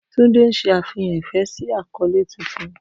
Tunde n ṣe afihan ifẹ si akọle tuntun.